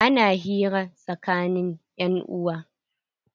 Ana hira tsakanin 'yan uwa.